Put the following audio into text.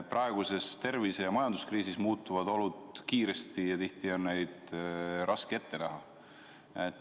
Praeguses tervise- ja majanduskriisis muutuvad olud kiiresti ja tihti on neid raske ette näha.